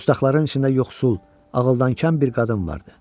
Dustaqlardan içində yoxsul, ağıldankəm bir qadın vardı.